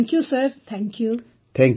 thank you thank you sir